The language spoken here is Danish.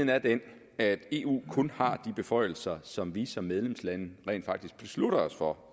er den at eu kun har de beføjelser som vi som medlemslande rent faktisk beslutter os for